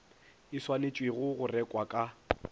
e swanetšwego go rekwa ka